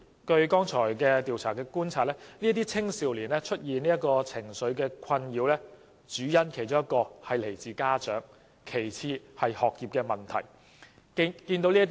剛才的調查觀察所得，這些青少年出現情緒困擾的其中一個主因與家長有關，其次是學業問題。